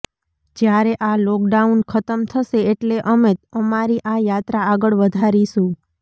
જ્યારે આ લોકડાઉન ખતમ થશે એટલે અમે અમારી આ યાત્રા આગળ વધારીશું